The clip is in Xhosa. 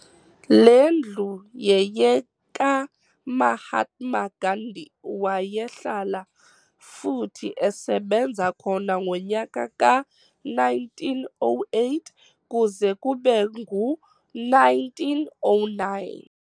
le ndlu yeyeka Mahatma Gandhi waye hlala futhi esebenza khona ngonyaka ka 1908 kuze kbe ngu 1909.